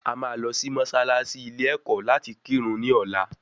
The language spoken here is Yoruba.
À máa lọ sí mọ́sálásí ilé ẹ̀kọ́ láti kírun ní ọ̀la